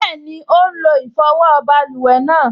Bẹ́ẹ̀ni, ó n lo ìfọwọ́ báluwẹ̀ náà